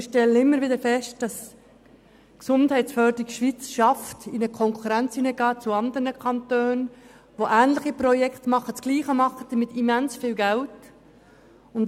Wir stellen immer wieder fest, dass die Gesundheitsförderung Schweiz es schafft, in Konkurrenz mit anderen Kantonen zu treten, die ähnliche Projekte angehen und das Gleiche mit immens viel Geld ermöglichen.